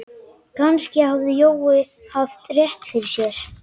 Kannski hafði Jói haft rétt fyrir sér.